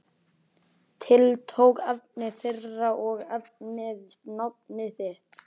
Tiltók efni þeirra og nefndi nafn þitt.